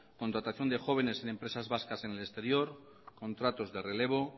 contratación de jóvenes en empresas vascas en el exterior contratos de relevo